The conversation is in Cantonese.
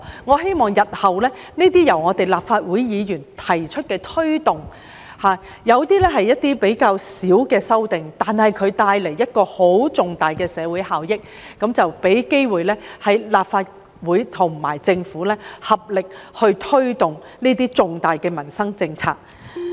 我希望日後這些由立法會議員提出的推動......有些是較小規模的修訂，但可帶來重大的社會效益，令立法會和政府能有機會合力推動這些重大的民生政策。